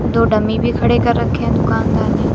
दो डमी भी खड़े कर रखे हैं दुकानदार ने--